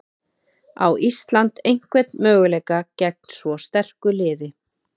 Á Ísland einhvern möguleika gegn svo sterku liði?